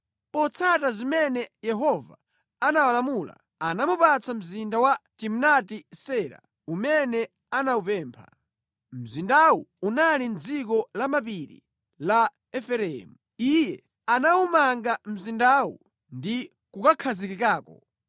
Potsata zimene Yehova anawalamula, anamupatsa mzinda wa Timnati-Sera umene anawupempha. Mzindawu unali mʼdziko lamapiri la Efereimu. Iye anawumanga mzindawu ndi kukhazikikako.